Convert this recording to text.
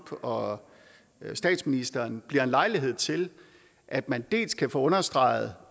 og statsministeren bliver en lejlighed til at man dels kan få understreget